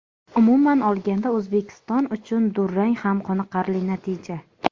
Umuman olganda O‘zbekiston uchun durang ham qoniqarli natija”.